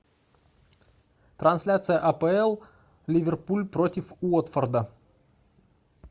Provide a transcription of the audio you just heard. трансляция апл ливерпуль против уотфорда